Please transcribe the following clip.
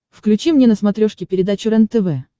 включи мне на смотрешке передачу рентв